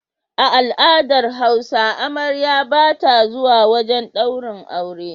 A al'adar hausa amarya bata zuwa wajan daurin aure